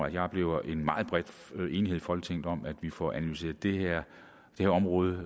jeg oplever en meget bred enighed folketinget om at vi får analyseret det her område